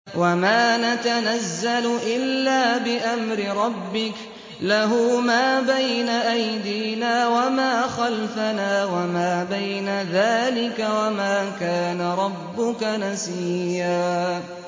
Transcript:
وَمَا نَتَنَزَّلُ إِلَّا بِأَمْرِ رَبِّكَ ۖ لَهُ مَا بَيْنَ أَيْدِينَا وَمَا خَلْفَنَا وَمَا بَيْنَ ذَٰلِكَ ۚ وَمَا كَانَ رَبُّكَ نَسِيًّا